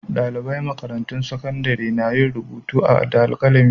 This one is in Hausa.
Ɗaliban makarantun sakandare na yin rubutu da alkalami.